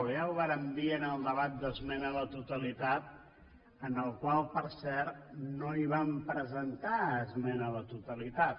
ja ho vàrem dir en el debat d’esmena a la totalitat en el qual per cert no vam presentar esmena a la totalitat